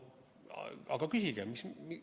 Aga küsige!